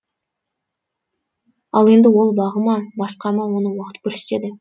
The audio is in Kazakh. ал енді ол бағы ма басқа ма оны уақыт көрсетеді